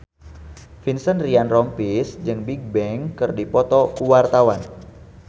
Vincent Ryan Rompies jeung Bigbang keur dipoto ku wartawan